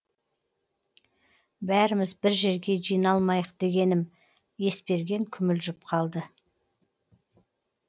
бәріміз бір жерге жиналмайық дегенім есберген күмілжіп қалды